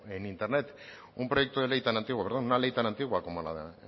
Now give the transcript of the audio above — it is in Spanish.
en internet un proyecto de ley tan antiguo perdón una ley tan antigua como